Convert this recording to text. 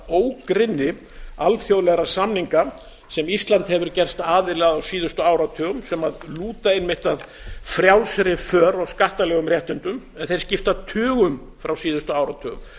ógrynni alþjóðlega samninga sem ísland hefur gerst aðili að á síðustu áratugum sem lúta einmitt að frjálsri för og skattalegum réttindum en þeir skipta tugum frá síðustu áratugum